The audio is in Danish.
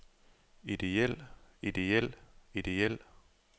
idéel idéel idéel